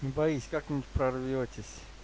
не боись как-нибудь прорвётесь